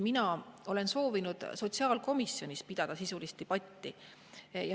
Mina olen soovinud sotsiaalkomisjonis pidada sisulist debatti.